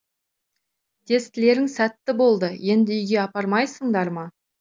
тестілерің сәтті болды енді үйге апармайсыңдар ма